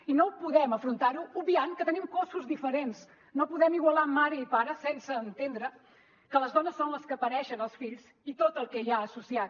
i no ho podem afrontar obviant que tenim cossos diferents no podem igualar mare i pare sense entendre que les dones són les que pareixen els fills i tot el que hi ha associat